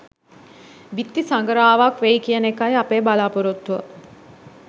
බිත්ති සඟරාවක් වෙයි කියන එකයි අපේ බලාපොරොත්තුව